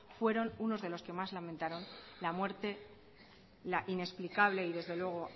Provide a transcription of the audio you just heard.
fueron unos de los que más lamentaron la muerte la inexplicable y desde luego